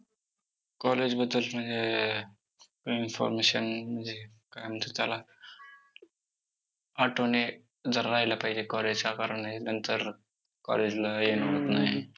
college बद्दल म्हणजे information म्हणजे काय म्हणतात त्याला? आठवणी जरा राहायला पाहिजे college च्या, कारण हे नंतर college ला येणं होत नाही.